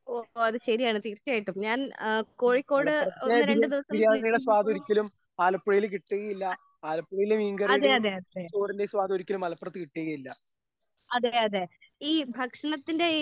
ഓഹ് ഓഹോ അത് ശരിയാണ് തീർച്ചയായിട്ടും ഞാൻ ഏഹ് കോഴിക്കോട് ഒന്ന് രണ്ട് ദിവസം നിന്നപ്പോഴും അതെ അതെ അതെ അതെ അതെ അതെ അതെ ഈ ഭക്ഷണത്തിന്റെ